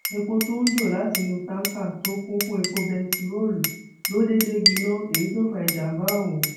èpò tó ń jó látinú táǹkà tó kún fún epo bẹntiróòlù ló déédé gbiná èyí tó fa ìjàmbá ọhún